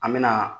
An me na